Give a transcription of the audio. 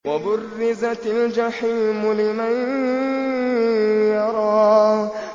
وَبُرِّزَتِ الْجَحِيمُ لِمَن يَرَىٰ